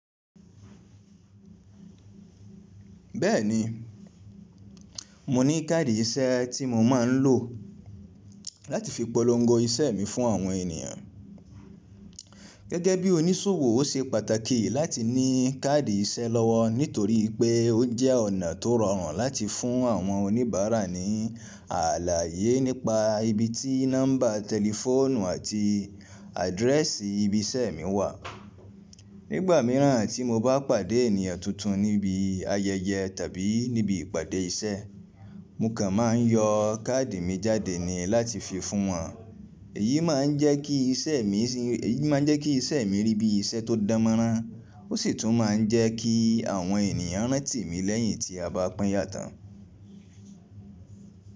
Bẹ́ẹ̀ni, mo ní káàdì iṣẹ́ tí mo máa ń lò láti fi polongo iṣẹ́ mi fún àwọn ènìyàn. Gẹ́gẹ́ bí oníṣòwò ó ṣe pàtàkì láti ní káàdì iṣẹ́ lọ́wọ́ nítorí pé ó jẹ́ ọ̀nà tó rọrùn láti fún àwọn oníbàárà ní ààlà ayé nípa ibi tí nọ́mbà tẹlifóònù àti àdírẹ́ẹ̀sì ibi iṣẹ́ mi wà. Nígbà mìíràn tí mo bá pàdé ènìyàn tuntun níbi ayẹyẹ tàbí níbi ìpàdé iṣẹ́, mo kàn máa ń yọ káàdì mi jáde ni láti fi fún wọn. Èyí máa ń jẹ́ kí iṣẹ́ mi, èyí máa ń jẹ́ kí iṣẹ́ mi rí bí iṣẹ́ tó dánmọ́rán. Ó sì tún máa ń jẹ́ kí àwọn èniyàn rántí mi lẹ́yìn tí a bá pínyà tán.